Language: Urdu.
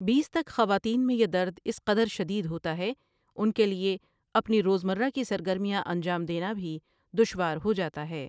بیس تک خواتین میں یہ درد اس قدر شدید ہوتا ہے ان کيلئے اپنی روزمرّہ کی سرگرمياں انجام دينا بهی دشوار ہوجاتا ہے۔